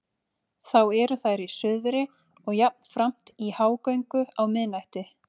Þá eru þær í suðri og jafnframt í hágöngu á miðnætti.